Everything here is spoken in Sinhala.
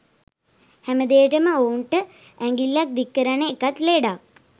හැමදේටම ඔවුන්ට ඇඟිල්ල දික් කරන එකත් ලෙඩක්.